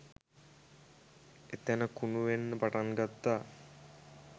එතැන කුණු වෙන්න පටන් ගත්තා.